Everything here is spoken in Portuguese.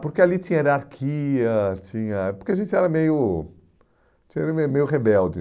Porque ali tinha hierarquia, tinha, porque a gente era meio meio rebelde.